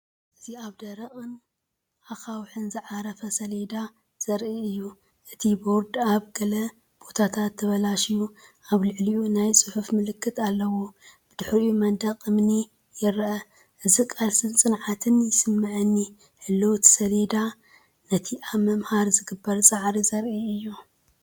እዚ ኣብ ደረቕን ኣኻውሕን ዝዓረፈ ሰሌዳ ዘርኢ እዩ። እቲ ቦርድ ኣብ ገለ ቦታታት ተበላሽዩን ኣብ ልዕሊኡ ናይ ጽሑፍ ምልክት ኣለዎ። ብድሕሪት መንደቕ እምኒ ይርአ። እዚ ቃልስን ጽንዓትን ይስመዓኒ። ህላወ እቲ ሰሌዳ ነቲ ኣብ ምምሃር ዝግበር ጻዕሪ ዘርኢ እዩ።